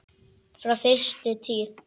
Frá fyrstu tíð.